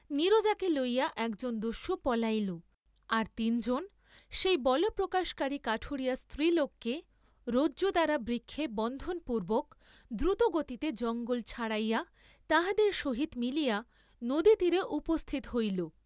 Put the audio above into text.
নীরজাকে লইয়া একজন দস্যু পলাইল, আর তিন জন সেই বলপ্রকাশকারী কাঠুরিয়া স্ত্রীলোককে রজ্জুদ্বারা বৃক্ষে বন্ধনপূর্ব্বক দ্রুতগতিতে জঙ্গল ছাড়াইয়া তাহাদের সহিত মিলিয়া নদীতীরে উপস্থিত হইল।